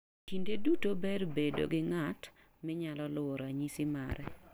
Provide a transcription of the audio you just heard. Kinde duto ber bedo gi ng'at minyalo luwo ranyisi mare.